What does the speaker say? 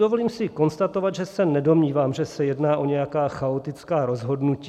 Dovolím si konstatovat, že se nedomnívám, že se jedná o nějaká chaotická rozhodnutí.